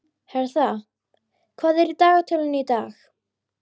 Hertha, hvað er í dagatalinu í dag?